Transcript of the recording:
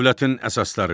Dövlətin əsasları.